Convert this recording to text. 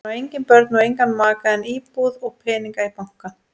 Hann á engin börn og engan maka en íbúð og peninga í banka.